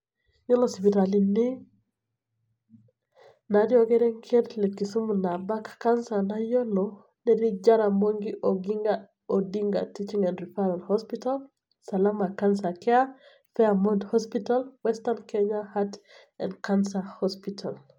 Yiolo sipitalini natii orkerenket le Kisumu nabak cancer nayiolo, netii Jaramogi Oginga Odinga teaching and referral hospital, Salama Cancer Care, Faremode hospital, Western Kenya Heart and Cancer hospital.